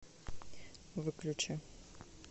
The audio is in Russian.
выключи